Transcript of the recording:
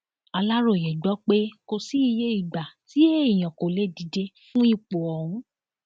aláròye gbọ pé kò sí iye ìgbà tí èèyàn kò lè díje fún ipò ọhún